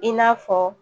I n'a fɔ